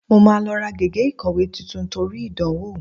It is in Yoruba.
Mo máa lọ ra gègé ìkọ̀wé tuntun torí ìdánwò